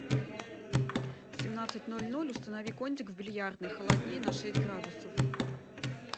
в семнадцать ноль ноль установи кондик в бильярдной холоднее на шесть градусов